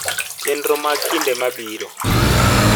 chenro mag kinde mabirp